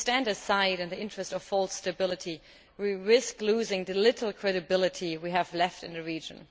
if we stand aside in the interest of false stability we risk losing the little credibility we have left in the region.